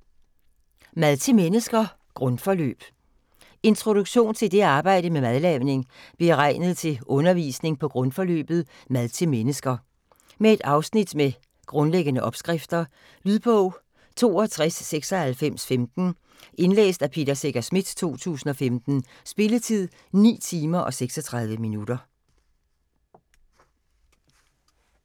Mad til mennesker - grundforløb Introduktion til det at arbejde med madlavning, beregnet til undervisning på grundforløbet "Mad til mennesker". Med et afsnit med grundlæggende opskrifter. Lydbog 629615 Indlæst af Peter Secher Schmidt, 2015. Spilletid: 9 timer, 36 minutter.